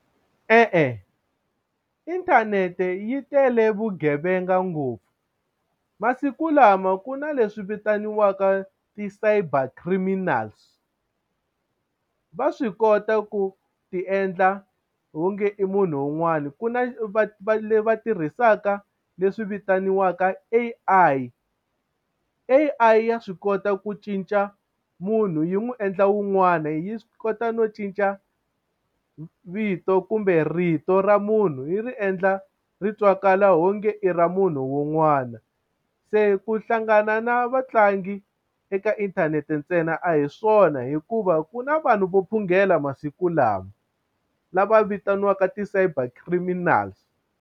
E-e inthanete yi tele vugevenga ngopfu masiku lama ku na leswi vitaniwaka ti-cyber criminals va swi kota ku ti endla onge i munhu un'wani ku na va va tirhisaka leswi vitaniwaka A_I, A_I ya swi kota ku cinca munhu yi n'wi endla wun'wana yi swi kota no cinca vito kumbe rito ra munhu yi ri endla ri twakala ho nge i ra munhu wun'wana se ku hlangana na vatlangi eka inthanete ntsena a hi swona hikuva ku na vanhu vo phungela masiku lawa lava vitaniwaka ti-cyber criminal.